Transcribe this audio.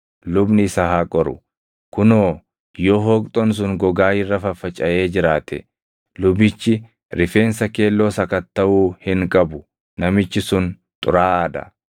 lubni isa haa qoru; kunoo yoo hooqxoon sun gogaa irra faffacaʼee jiraate lubichi rifeensa keelloo sakattaʼuu hin qabu; namichi sun xuraaʼaa dha.